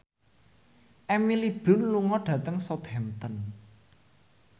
Emily Blunt lunga dhateng Southampton